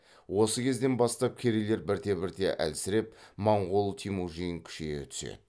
осы кезден бастап керейлер бірте бірте әлсіреп моңғол темүжин күшейе түседі